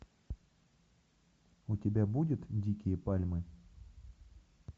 у тебя будет дикие пальмы